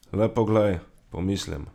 Le poglej, pomislim.